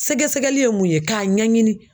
Sɛgɛsɛgɛli ye mun ye k'a ɲɛɲini.